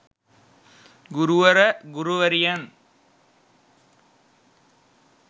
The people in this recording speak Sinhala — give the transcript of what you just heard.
ගුරුවර ගුරුවරියන්